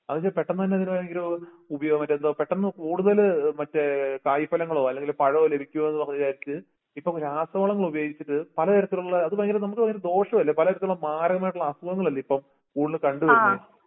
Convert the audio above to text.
അതൊക്കെപേട്ടന്നുതന്നെന്നെര് ഈയോര് ഉപയോഗമറ്റെന്തോ പെട്ടന്നുകൂടുന്നേല് ഏഹ് മറ്റെ കായിഫലങ്ങളോ ഇപ്പം രാസവളങ്ങളുപയോഗിച്ചിട്ട് പലതരത്തിലുള്ള അതുഭയങ്കര നമുക്കു ഭയങ്കരദോഷല്ലേ പലതരത്തിളുള്ള മാരകമായിട്ടുള്ള അസുഖങ്ങളല്ലേയിപ്പം കണ്ടുവരുന്നെ.